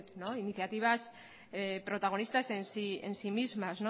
iniciativas protagonistas en sí mismas